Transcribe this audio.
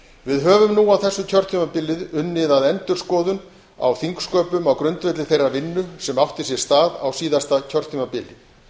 við höfum nú á þessu kjörtímabili unnið að endurskoðun á þingsköpunum á grundvelli þeirrar vinnu sem átti sér stað á síðasta kjörtímabili